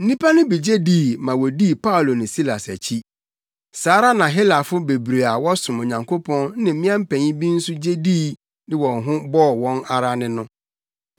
Nnipa no bi gye dii ma wodii Paulo ne Silas akyi. Saa ara na Helafo bebree a wɔsom Onyankopɔn ne mmea mpanyin bi nso gye dii de wɔn ho bɔɔ wɔn ara ne no.